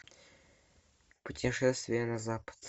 путешествие на запад